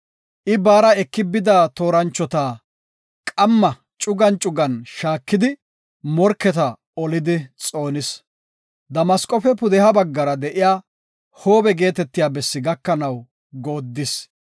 I baara eki bida tooranchota qamma cugan cugan shaakidi morketa olidi xoonis. Damasqofe pudeha baggara de7iya Hoobe geetetiya bessi gakanaw goodis.